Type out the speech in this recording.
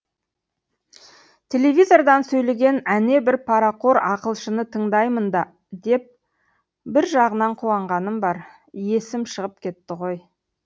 телевизордан сөйлеген әнебір парақор ақылшыны тыңдаймын да деп бір жағынан қуанғаным бар есім шығып кетті ғой